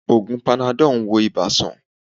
Ògùn panadol ń wo ibà sàn